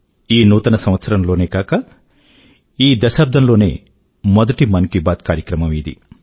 ఈ నూతన సంవత్సరం లోనే గాక ఈ దశాబ్దం లోనే మొదటి మన కీ బాత్ కార్యక్రమం ఇది